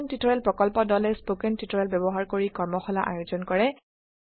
spoken tutorial প্ৰকল্প দলে spoken tutorial ব্যবহাৰ কৰি কৰ্মশালাৰ আয়োজন কৰে